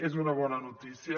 és una bona notícia